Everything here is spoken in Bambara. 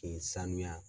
K'i sanuya